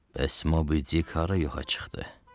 Bəs Mobidik hara yoxa çıxdı?